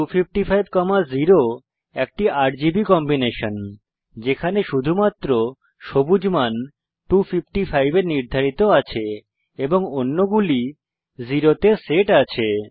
02550 একটি RGB combination যেখানে শুধুমাত্র সবুজ মান 255 এ নির্ধারিত আছে এবং অন্যগুলি 0 তে সেট আছে